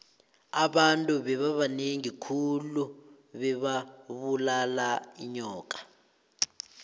abantu bebabanengi khulu bebabulala inyoka